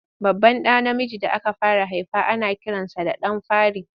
Babban ɗa namiji da aka fara haifa ana kiransa da ɗan fari.